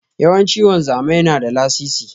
Yawanci wanzami na da lasisi.